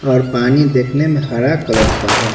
और पानी देखने में हरा कलर का है।